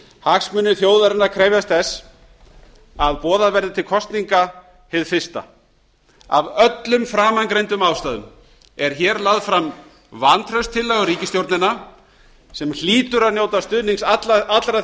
hagsmunir þjóðarinnar efast þess að boðað verði til kosninga hið fyrsta af öllum framangreindum ástæðum er hér lögð fram vantrauststillaga á ríkisstjórnina sem hlýtur að njóta stuðnings allra